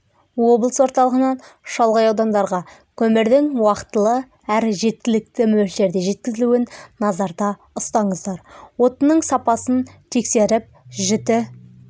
облыс орталығынан шалғай аудандарға көмірдің уақтылы әрі жеткілікті мөлшерде жеткізілуін назарда ұстаңыздар отынның сапасын тексеріп жіті